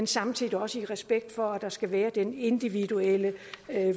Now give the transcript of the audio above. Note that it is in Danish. samtidig også er respekt for at der skal være en individuel